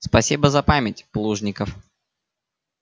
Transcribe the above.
спасибо за память плужников